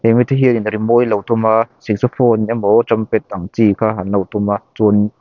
rimawi an lo tum a saxophone emaw trumpet ang chu kha an lo tum a chuan--